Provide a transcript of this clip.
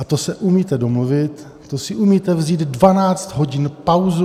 A to se umíte domluvit, to si umíte vzít 12 hodin pauzu.